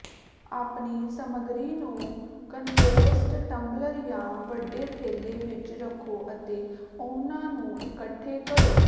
ਆਪਣੀ ਸਾਮੱਗਰੀ ਨੂੰ ਕੰਪੋਸਟ ਟੰਬਲਰ ਜਾਂ ਵੱਡੇ ਠੇਲ੍ਹੇ ਵਿੱਚ ਰੱਖੋ ਅਤੇ ਉਨ੍ਹਾਂ ਨੂੰ ਇਕੱਠੇ ਕਰੋ